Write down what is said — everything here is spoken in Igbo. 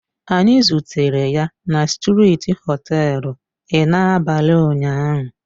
Anyị zutere ya na strịti họtelu l n'abalị ụnyahụ